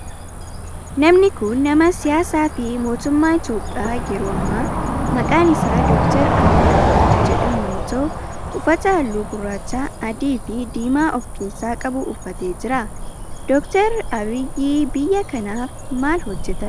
Namni kun nama siyaasaa fi mootummaa Itiyoophiyaa yeroo ammaa maqaan isaa Dr. Abiyi Ahimeed kan jedhamu yoo ta'u uffata halluu gurraacha, adii fi diimaa of keessaa qabu uffatee jira. Dr. Abiyi biyyaa tanaaf maal hojjetan?